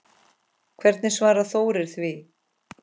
Hvernig svarar Þórir því?